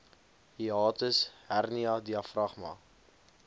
hiatus hernia diafragma